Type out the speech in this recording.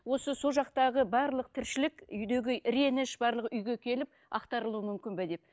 осы сол жақтағы барлық тіршілік үйдегі реніш барлығы үйге келіп ақтарылуы мүмкін бе деп